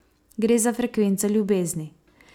Gre za frekvenco ljubezni.